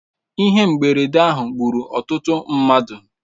Ihe mberede ahụ gburu ọtụtụ mmadụ.